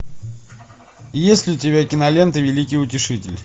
есть ли у тебя кинолента великий утешитель